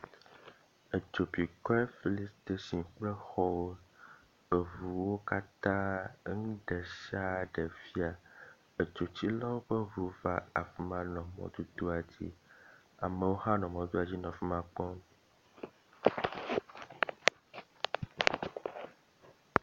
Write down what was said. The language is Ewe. Edzo bi goil fillin statini kple xɔwo. Eŋuwo katã eŋu ɖe sia ɖe fia. Edzotsilawo ƒe ŋu va afi ma nɔ mɔdodoa dzi. Amewo hã nɔ mɔdodoa dzi nɔ afi ma kpɔm.